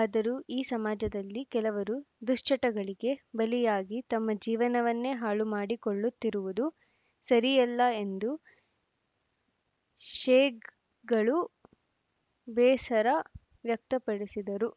ಆದರೂ ಈ ಸಮಾಜದಲ್ಲಿ ಕೆಲವರು ದುಶ್ಚಟಗಳಿಗೆ ಬಲಿಯಾಗಿ ತಮ್ಮ ಜೀವನವನ್ನೇ ಹಾಳು ಮಾಡಿಕೊಳ್ಳುತ್ತಿರುವುದು ಸರಿಯಲ್ಲ ಎಂದು ಶೇಕ್ ಗಳು ಬೇಸರ ವ್ಯಕ್ತಪಡಿಸಿದರು